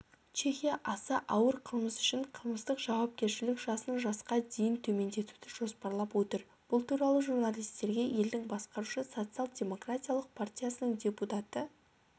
чехия аса ауыр қылмыс үшін қылмыстық жауапкершілік жасын жасқа дейін төмендетуді жоспарлап отыр бұл туралы журналистерге елдің басқарушы социал-демократиялық партиясының депутаты